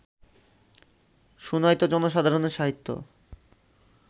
শুনাইত জনসাধারণের সাহিত্য